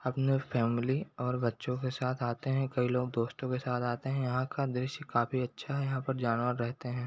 अपने फॅमिली और बच्चों के साथ आते है कई लोग दोस्तों के साथ आते है यहाँ का द्रश्य काफी अच्छा है यहाँ पर जानवर रहते है ।